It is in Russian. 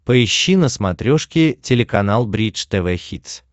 поищи на смотрешке телеканал бридж тв хитс